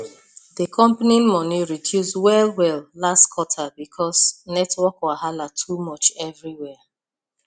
the company money reduce wellwell last quarter because network wahala too much everywhere